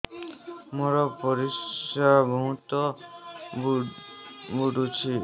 ମୋର ପରିସ୍ରା ବହୁତ ପୁଡୁଚି